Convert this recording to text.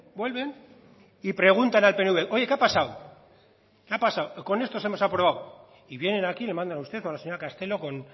vuelven y preguntar al pnv oye qué ha pasado qué ha pasado con estos hemos aprobado y vienen aquí y le mandan a usted o a la señora castelo con